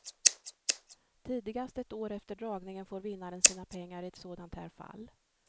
Tidigast ett år efter dragningen får vinnaren sina pengar i ett sådant här fall.